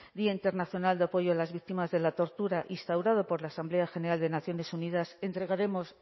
día internacional de apoyo a las víctimas de la tortura instaurado por la asamblea general de naciones unidas entregaremos